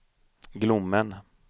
Glommen